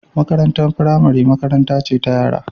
Makarantar firamare makaranta ce ta yara